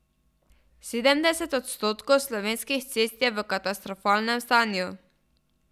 Sedemdeset odstotkov slovenskih cest je v katastrofalnem stanju.